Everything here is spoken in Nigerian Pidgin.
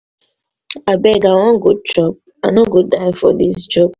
abeg i wan go chop i no go die for dis job.